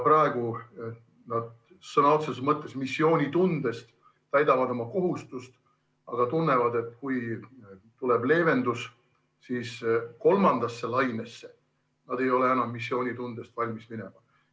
Praegu nad sõna otseses mõttes missioonitundest täidavad oma kohust, aga tunnevad, et kui tuleb leevendus, siis kolmandasse lainesse ei ole nad enam missioonitundest valmis minema.